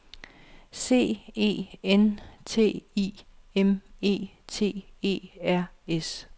C E N T I M E T E R S